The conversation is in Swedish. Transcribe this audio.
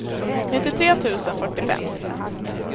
nittiotre tusen fyrtiofem